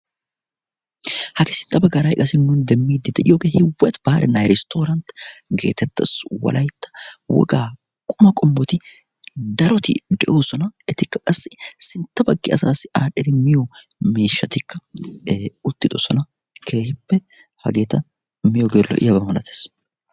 hagee sintta baggaara qassi nuuni demmiiddi de'iyoogee hiwati baare na iristtooranti geetettas wolaytta wogaa quma qommoti daroti de'oosona etikka qassi sintta baggi asaassi aadhdhidi miyo miishshatikka uttidosona keehippe hageeta miyoogee lo''iyaba malatees